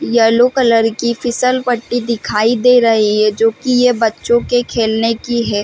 Yellow colour की फिसलपट्टी दिखाई दे रही है जो की ये बच्चो की खेलने की है।